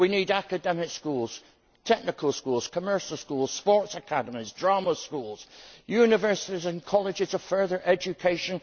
We need academic schools, technical schools, commercial schools, sports academies, drama schools, universities and colleges of further education.